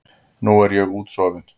Nú er ég útsofin.